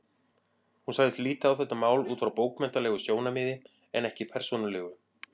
Hún sagðist líta á þetta mál út frá bókmenntalegu sjónarmiði en ekki persónulegu.